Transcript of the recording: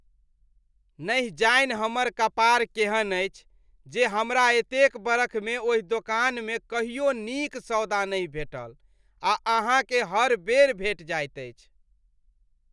नहि जानि हमर कपार केहन अछि जे हमरा एतेक बरखमे ओहि दोकानमे कहियो नीक सौदा नहि भेटल आ अहाँकेँ हर बेर भेटि जाइत अछि।